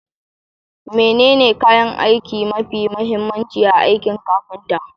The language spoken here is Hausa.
Menene kayan aiki mafi mahimmanci a aikin kafinta?